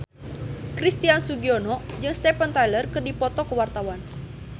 Christian Sugiono jeung Steven Tyler keur dipoto ku wartawan